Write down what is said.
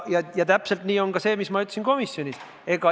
Ja täpselt nii on ka see, mida ma ütlesin komisjonis.